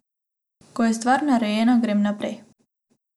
Ko je stvar narejena, grem naprej.